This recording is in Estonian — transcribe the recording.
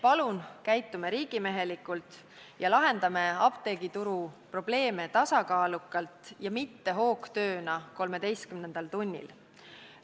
Palun, käitume riigimehelikult ja lahendame apteegituru probleeme tasakaalukalt ja mitte hoogtööna 13. tunnil!